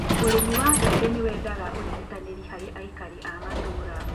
ūrīmi wa mbembe nīwendaga ūnyitanīrī harī aikari a matūra